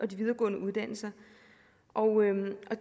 de videregående uddannelser